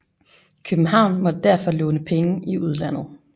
København måtte derfor låne penge i udlandet